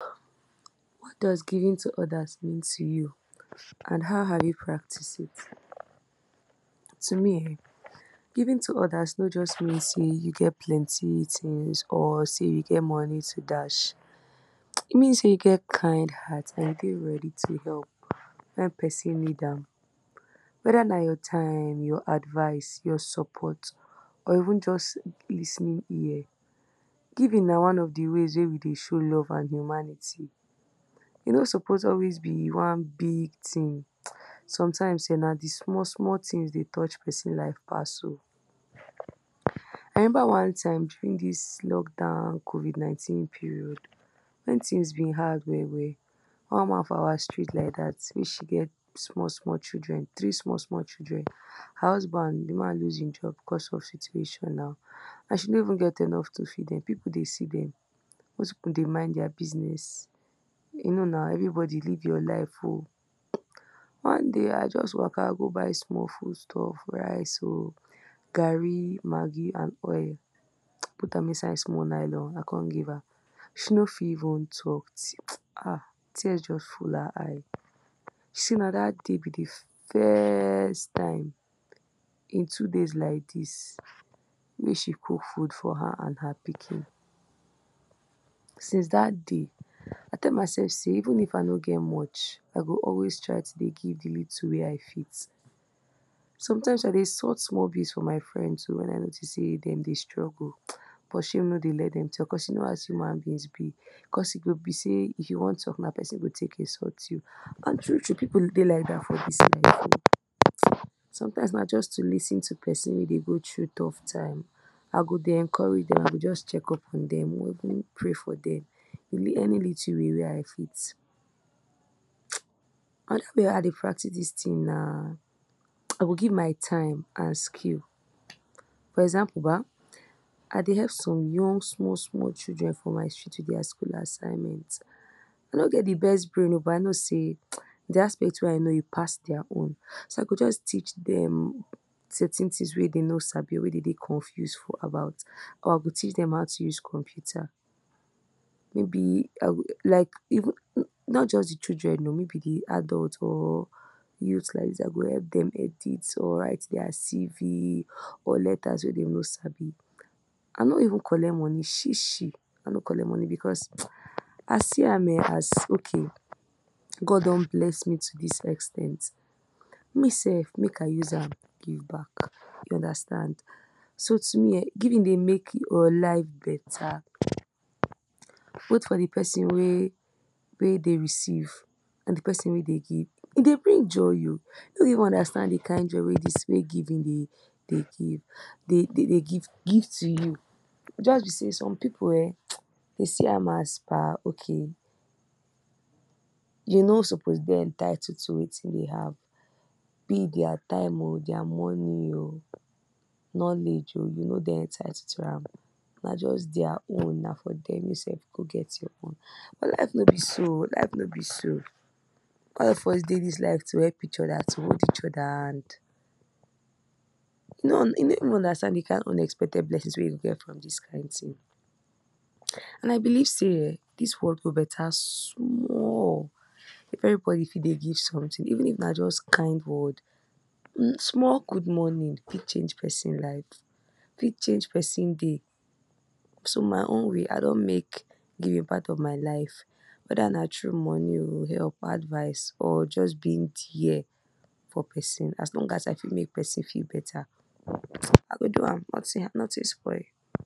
What does giving to others mean to you and how have you practiced it? To me um giving to others no just mean sey you get plenty things or sey you get money to dash. E mean sey you get kind heart and dey ready to help when person need am whether na your time, your advice, your support or even just lis ten ing ear. Giving na one of de ways wey we dey show love and humanity. E no suppose always be one big thing, sometimes um na di small small things dey touch person life pass um I remember one time during dis lock down, covid nineteen period. When things be hard well well one woman for our street like dat wey she get small small children three small small children. Her husband di man lose in job because of e situation na and she no even get enough to feed dem an pipu dey see dem, those pipu dey mind their business. You know na everybody live your life um one day I just waka go buy small food stuffs, rice um garri, maggi and oil put am inside small nylon I come give am. She no fit even talk um tears just full her eyes say na dat day be de first time in two days like dis wey she cook food for her and her pikin. Since dat day, I tell myself sey even if I no get much I go always try dey give di little wey I fit. Sometimes I dey sooth small bills for my friends too when I notice sey dem dey struggle, but shame no dey let dem talk you know as human beings be, cause e go be sey if you wan talk na person go take insult you, and true true pipu dey like dat for dis life. Sometimes na just to lis ten to person wey dey go through tough time I go dey encourage dem I go just check up on dem even pray for dem. In any little way wey I fit. um Another way wey I dey practice dis thing na I go give my time and skill, for example ba I dey help some young young small children for my street with their school assignment. I no get de best brain um but I know sey de aspect wey I know e pass their own so I go just teach dem certain things wey dem no sabi or wey dey dey confuse about, or I go teach dem how to use computer, maybe I go like even not just de children maybe di adult or youth like dis I go edit or write their cv or letters wey dem no sabi, I no even collect money shi shi, I no collect money because I see am as um okay God don bless me to dis ex ten t me self make I use am give back. You understand. So to me um giving dey make your life better both for di person wey dey receive and di person wey dey give. E dey bring joy um I no even understand de kind joy wey giving dey give dey dey give give to you, just be sey some pipu um dem see am as per okay you no suppose dey entitled to wetin dey have, be it their time o or there money um knowledge um you no dey entitled am. Na just their own na for dem you self go get your own, but life no be so um life no be so. All of us dey dis life to help each other to hold each other hand. You nor even understand de kind unexpected blessings we you fit get from dis kind thing. And I believe sey um dis world go better small if everybody fit dey give something even if na just kind words. Small good morning fit change person life, fit change person day. So in my own way I don make giving part of my own life. Whether na through money um, help advice or just being there for person as long as I fit make person feel better I go don am nothing spoil.